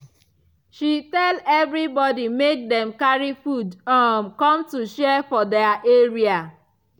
she tell everybody make dem carry food um come to share for their area